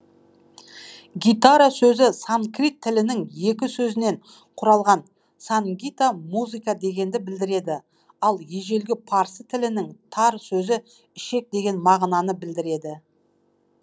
гитара сөзі санкрит тілінің екі сөзінен құралған сангита музыка дегенді білдіреді ал ежелгі парсы тілінің тар сөзі ішек деген мағынаны білдіреді